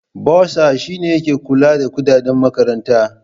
Bursar shine ke kula da kudaden makaranta.